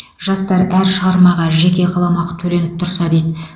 жастар әр шығармаға жеке қаламақы төленіп тұрса дейді